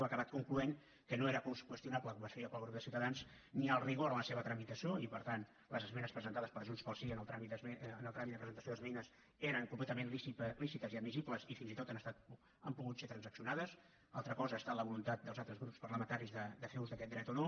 ha acabat concloent que no era qüestionable com es feia pel grup de ciutadans ni el rigor en la seva tramitació i per tant les esmenes presentades per junts pel sí en el tràmit de presentació d’esmenes eren completament lícites i admissibles i fins i tot han estat han pogut ser transaccionades altra cosa ha estat la voluntat dels altres grups parlamentaris de fer ús d’aquest dret o no